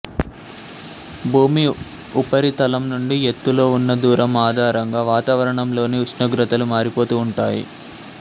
భూమి ఉపరితలం నుండి ఎత్తులో ఉన్న దూరం ఆధారంగా వాతావరణంలోని ఉస్ణోగ్రతలు మారిపోతూ ఉంటాయి